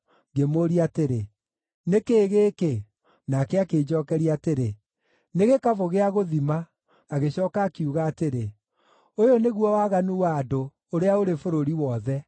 Ngĩmũũria atĩrĩ, “Nĩ kĩĩ gĩkĩ?” Nake akĩnjookeria atĩrĩ, “Nĩ gĩkabũ gĩa gũthima.” Agĩcooka akiuga atĩrĩ, “Ũyũ nĩguo waganu wa andũ, ũrĩa ũrĩ bũrũri wothe.”